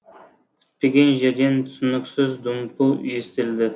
күтпеген жерден түсініксіз дүмпу естілді